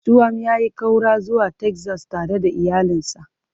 Suwam ya yi ƙaura zuwa Texas tare da iyalinsa.